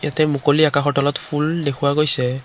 ইয়াতে মুকলি আকাশৰ তলত ফুল দেখুওৱা গৈছে।